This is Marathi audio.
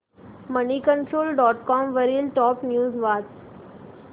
मनीकंट्रोल डॉट कॉम वरील टॉप न्यूज वाच